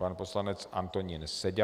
Pan poslanec Antonín Seďa.